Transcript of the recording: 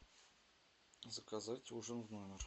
заказать ужин в номер